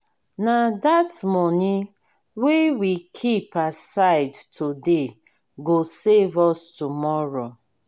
na that money wey we keep aside today go save us tomorrow.